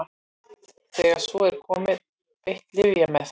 þegar svo er komið er beitt lyfjameðferð